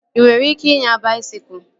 Ị nwere ike inya baisikụl?